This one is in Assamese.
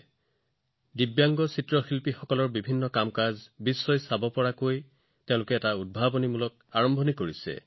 যিসকল অন্য ধৰণে সক্ষম শিল্পী তেওঁলোকৰ কাম বিশ্বলৈ লৈ যোৱাৰ বাবে এক অভিনৱ আৰম্ভণিও কৰা হৈছে